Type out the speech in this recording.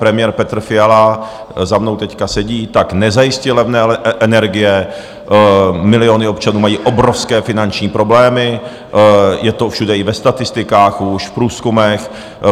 Premiér Petr Fiala za mnou teď sedí, tak nezajistil levné energie, miliony občanů mají obrovské finanční problémy, je to všude i ve statistikách už, v průzkumech.